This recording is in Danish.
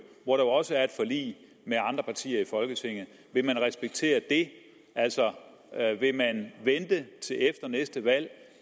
hvor der jo også er et forlig med andre partier i folketinget vil man respektere det altså vil man vente med det til efter næste valg